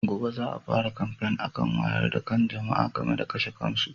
Gobe za a fara kamfen akan wayar da kan jama'a game da kashe kansu.